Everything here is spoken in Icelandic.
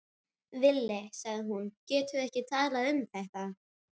Villi, sagði hún, getum við ekki talað um þetta?